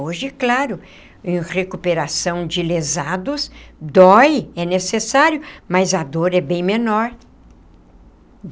Hoje, claro, em recuperação de lesados, dói, é necessário, mas a dor é bem menor.